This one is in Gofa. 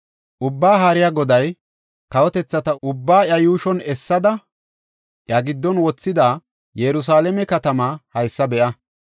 Ubbaa Haariya Goday, “Kawotethata ubbaa iya yuushon essada, iya giddon wothida, Yerusalaame katamaa haysa be7a.